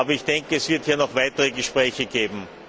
Aber ich denke, es wird hier noch weitere Gespräche geben.